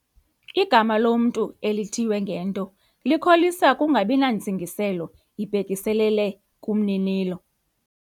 Igama lomntu elithiywe ngento likholisa ukungabi nantsingiselo ibhekiselele kumninilo.